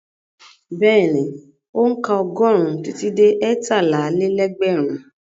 Bẹ́ẹ̀ni, ó ń ka ọgọ́rùn-ún títí dé ẹtálá-lé-lẹ́gbẹ̀rún.